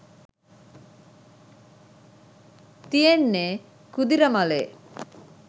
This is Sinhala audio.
තියෙන්නේ කුදිරමලේ.